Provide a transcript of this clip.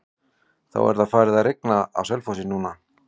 Það er farið að rigna á Selfossi núna.